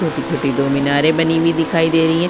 छोटी - छोटी दो मीनारे बनी हुई दिखाई दे रही हैं।